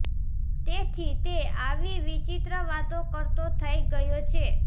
તેથી તે આવી વિચિત્ર વાતો કરતો થઇ ગયો છે